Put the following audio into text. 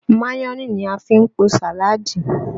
Mayonẹ ni a fi ń po sàálàdí